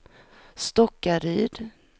Stockaryd